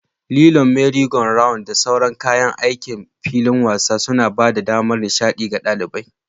Lilon, merry-go-rounds, da sauran kayan aikin filin wasa suna ba da damar nishaɗi ga ɗalibai.